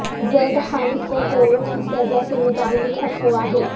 زید حامد کو کوڑوں کی سزا سے متعلق افواہیں